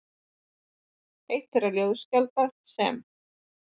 Eitt þeirra ljóðskálda sem